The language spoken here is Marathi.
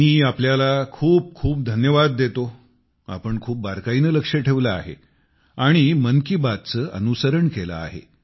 मी तुम्हाला खूप खूप धन्यवाद देतो तुम्ही खूप बारकाईने लक्ष ठेवले आहे आणि मन की बातचे अनुसरण केले आहे